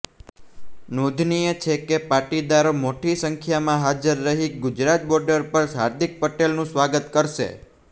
નોંધનીય છે કે પાટીદારો મોટી સંખ્યામાં હાજર રહી ગુજરાત બોર્ડર પર હાર્દિક પટેલનું સ્વાગત કરશે